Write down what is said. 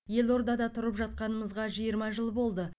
елордада тұрып жатқанымызға жиырма жыл болды